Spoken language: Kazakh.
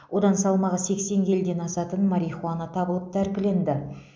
одан салмағы сексен келіден асатын марихуана табылып тәркіленді